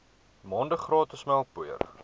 maande gratis melkpoeier